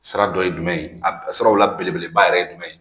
Sira dɔ ye jumɛn ye a siraw la belebeleba yɛrɛ ye jumɛn ye